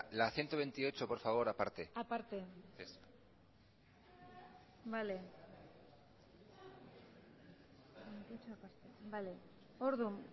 la ciento veintiocho por favor aparte orduan